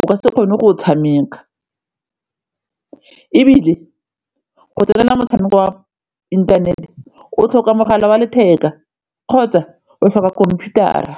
o ka se kgone go o tshameka ebile go tsenela motshameko wa inthanete o tlhoka mogala wa letheka kgotsa o tlhoka computer-ra.